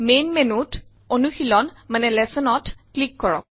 main menu ত অনুশীলন Lessonsত ক্লিক কৰক